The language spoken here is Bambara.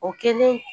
O kɛlen